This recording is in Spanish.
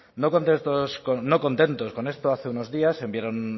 no contentos con esto hace unos días enviaron